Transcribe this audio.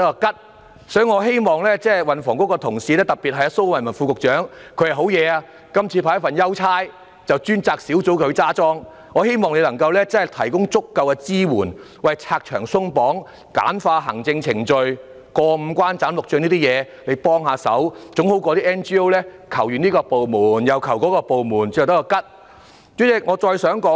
因此，我希望運輸及房屋局的同事，特別是蘇偉文副局長——他還真厲害，這次獲派一份優差，即負責統籌專責小組——我希望他提供足夠的支援，拆牆鬆綁、簡化行政程序，幫忙解決要"過五關、斬六將"的程序，總勝於 NGO 向多個部門請求後也只得一場空。